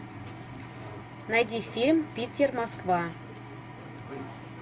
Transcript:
найди фильм питер москва